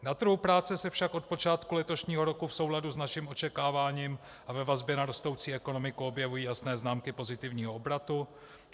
Na trhu práce se však od počátku letošního roku v souladu s naším očekáváním a ve vazbě na rostoucí ekonomiku objevují jasné známky pozitivního obratu.